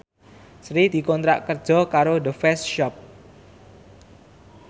Sri dikontrak kerja karo The Face Shop